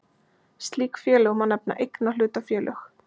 Slík félög má nefna eignahlutafélög.